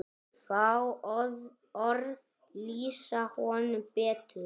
Fá orð lýsa honum betur.